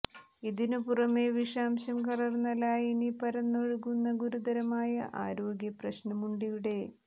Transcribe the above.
ഇതിനു പുറമെ വിഷാംശം കലര്ന്ന ലായനി പരന്നൊഴുകുന്ന ഗുരുതരമായ ആരോഗ്യ പ്രശ്നവുമുണ്ടിവിടെ